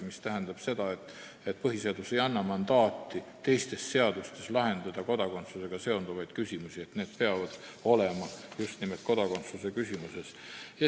See tähendab seda, et põhiseadus ei anna mandaati lahendada teistes seadustes kodakondsusega seonduvaid küsimusi – need peavad olema just nimelt kodakondsuse seaduses.